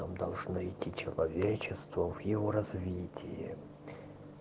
там должно идти человечество в его развитии